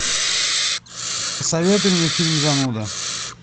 посоветуй мне фильм зануда